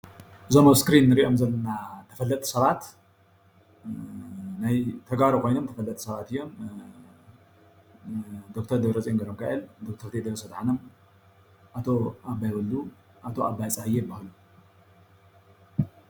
እዞም ኣብ እስክሪን እንሪኦም ዘለና ተፈለጥቲ ሰባት ናይ ተጋሩ ኾይኖም ተፈለጥቲ ሰባት እዮም። ደክተር ደብረፂዮን ገብረሚካኤል፣ ዶክተር ቴድሮስ ኣድሐኖም፣ ኣቶ ኣባይ ወሉ ኣቶ ኣባይ ፀሃየ እባ ።